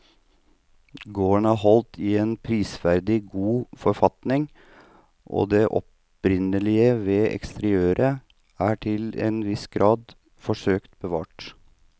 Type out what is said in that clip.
Gården er holdt i en prisverdig god forfatning og det opprinnelige ved eksteriørene er til en viss grad forsøkt bevart.